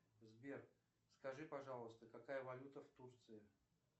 сбер скажи пожалуйста какая валюта в турции